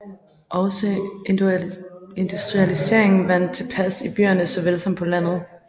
Også industrialiseringen vandt indpas i byerne såvel som på landet